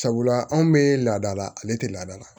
Sabula anw bɛ laada la ale tɛ laada la